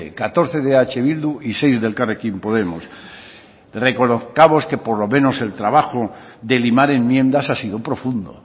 catorce de eh bildu y seis elkarrekin podemos reconozcamos que por lo menos el trabajo de limar enmiendas ha sido profundo